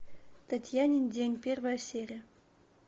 татьянин день первая серия